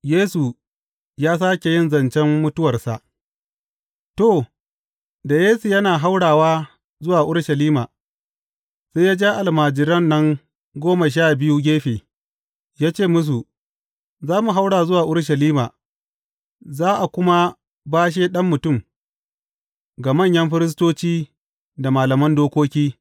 Yesu ya sāke yin zancen mutuwarsa To, da Yesu yana haurawa zuwa Urushalima, sai ya ja almajiran nan goma sha biyu gefe, ya ce musu, Za mu haura zuwa Urushalima, za a kuma bashe Ɗan Mutum ga manyan firistoci da malaman dokoki.